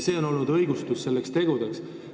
See on olnud nende tegude õigustus.